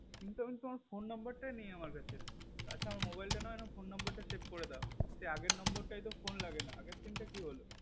কিন্তু তোমার phone number তাই নেই আমার কাছে আচ্ছা আমার mobile তা নাও phone number save করে দাও সেই আগের number তাই তো phone লাগে না আগের sim টা কি হলো